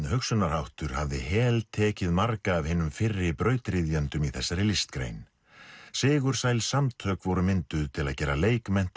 hugsunarháttur hafði heltekið marga af hinum fyrri brautryðjendum í þessari listgrein sigursæl samtök voru mynduð til að gera